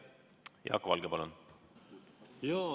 Jaak Valge, palun!